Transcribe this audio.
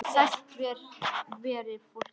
Sælt veri fólkið!